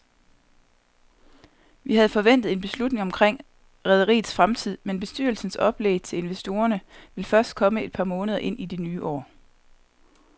Vi havde forventet en beslutning omkring rederiets fremtid, men bestyrelsens oplæg til investorerne vil først komme et par måneder ind i det nye år.